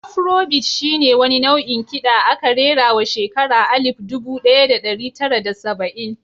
Afro bit shi ne wani nau'in kiɗa aka rerawa shekara alif dubu ɗaya da ɗari tara da saba'in.